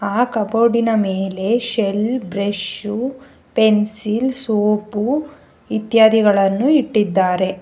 ಆ ಕಬೋರ್ಡಿನ ಮೇಲೆ ಶೆಲ್ ಬ್ರಷ್ ಪೆನ್ಸಿಲ್ ಸೋಪು ಇತ್ಯಾದಿಗಳನ್ನು ಇಟ್ಟಿದ್ದಾರೆ.